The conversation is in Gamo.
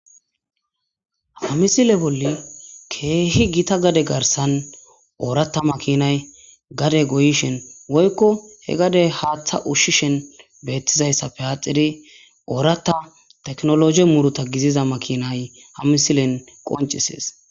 Ha misile bolle keehi gita gade garssan ooratta makinay gade goyishin woykko he gade haaththa ushshishin beettizayssappe aaxidi ooratta teknoloje muruta giziza makinay ha misilen qoncisees.